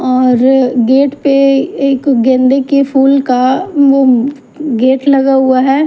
और गेट पे एक गेंदे के फूल का वो गेट लगा हुआ है।